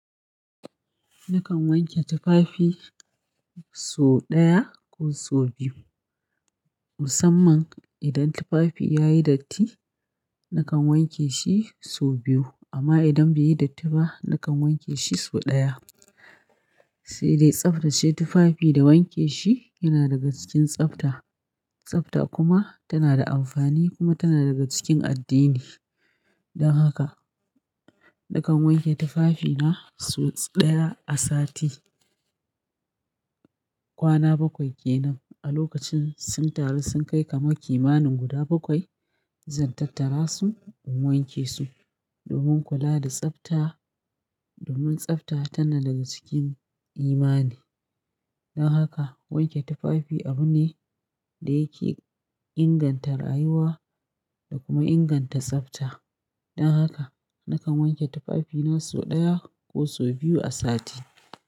Nakan wanke tufafi so ɗaya ko so biyu. Musamman idan tufafi yayi datti nakan wanke shi so biyu amma idan bai yi datti ba nakan wanke shi so ɗaya. Sai dai tsaftace tufafi da wanke shi yana daga cikin tsafta. Tsafta kuma tana da amfani kuma tana daga cikin addini. Don haka nakan wanke tufafina so ɗaya a sati. Kwana bakwai kenan a lokacin sun taru sun kai kamar kimanin guda bakwai zan tattara su in wanke su domin kula da tsafta. Domin tsafta tana daga cikin imani. Don haka wanke tufafi abu ne da yake inganta rayuwa da kuma inganta tsafta. Don haka nakan wanke tufafina so ɗaya ko so biyu a sati.